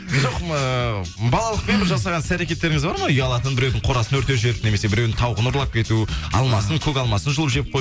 жоқ ыыы балалықпен бір жасаған іс әрекеттеріңіз бар ма ұялатын біреудің қорасын өртеп жіберіп немесе біреудің тауығын ұрлап кету алмасын көк алмасын жұлып жеп